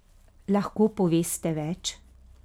Lahko poveste več?